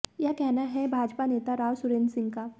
यह कहना है भाजपा नेता राव सुरेंद्र सिंह का